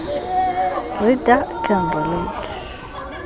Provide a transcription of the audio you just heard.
reader can relate